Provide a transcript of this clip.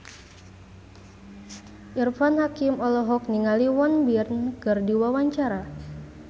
Irfan Hakim olohok ningali Won Bin keur diwawancara